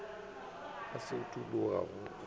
se a utologa go a